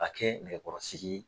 Ka kɛ nɛgɛkɔrɔsigi ye.